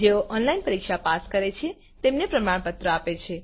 જેઓ ઓનલાઇન પરીક્ષા પાસ કરે છે તેમને પ્રમાણપત્ર આપે છે